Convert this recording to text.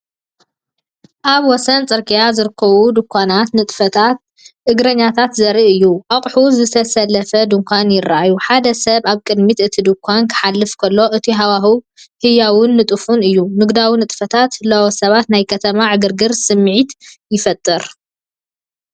ኣብ ወሰን ጽርግያ ዝርከቡ ድኳናትን ንጥፈታት እግረኛታትን ዘርኢ እዩ። ኣቑሑት ዝተሰለፉ ድኳናት ይረኣዩ። ሓደ ሰብ ኣብ ቅድሚ እቲ ድኳን ክሓልፍ ከሎ፣ እቲ ሃዋህው ህያውን ንጡፍን እዩ። ንግዳዊ ንጥፈታትን ህላወ ሰባትን ናይ ከተማ ዕግርግር ስምዒት ይፈጥር።